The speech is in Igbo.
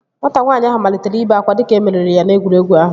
Nwata nwaanyị ahụ malitere ibe akwa dịka e meriri ya n'egwuregwu ahụ